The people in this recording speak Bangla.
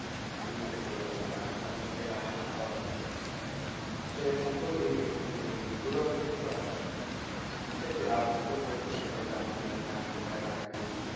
আমি উঠেছি বলতে গেলে personally সেটা আমার ভালো লাগছিল। সেখানে ঘোড়াও বিক্রি করা হয় ইচ্ছে ছিল আব্বুকে বলছিলাম আব্বু বলে না কোথায় রাখবি